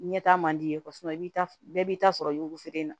Ɲɛta man di ye i b'i ta bɛɛ b'i ta sɔrɔ yugufeere in na